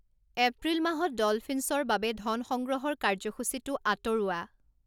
এপ্ৰিল মাহত ডলফিনছ্‌ৰ বাবে ধন সংগ্ৰহৰ কাৰ্যসূচীটো আঁতৰোৱা